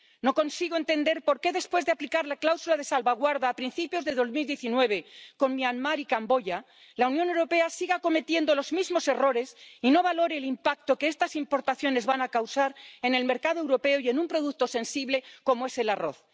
No consigo entender por qué, después de aplicar la cláusula de salvaguarda a principios del año 2019 con Myanmar y Camboya, la Unión Europea siga cometiendo los mismos errores y no valore el impacto que estas importaciones van a causar en el mercado europeo y en un producto sensible como es el arroz.